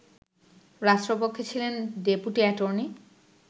রাষ্ট্রপক্ষে ছিলেন deputy attorney